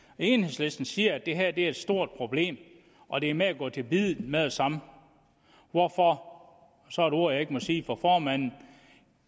enhedslisten siger at det her er et stort problem og at det er med at gå til biddet med det samme hvorfor og så et ord jeg ikke må sige for formanden